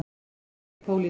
Þetta er ekki pólitík.